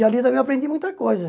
E ali também eu aprendi muita coisa.